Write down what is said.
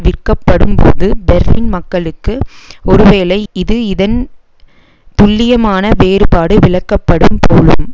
விற்கப்படும்போது Berlin மக்களுக்கு ஒருவேளை இது இதன் துல்லியமான வேறுபாடு விளக்கப்படும் போலும்